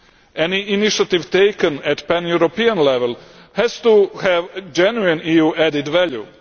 Any initiative taken at pan European level has to have genuine EU added value.